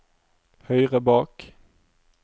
høyre bak